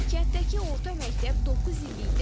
Kənddəki orta məktəb doqquz illikdir.